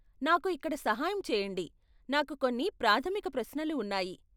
నాకు ఇక్కడ సహాయం చెయ్యండి, నాకు కొన్ని ప్రాథమిక ప్రశ్నలు ఉన్నాయి.